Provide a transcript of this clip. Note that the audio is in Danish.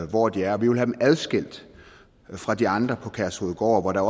hvor de er og vi vil have dem adskilt fra de andre på kærshovedgård hvor der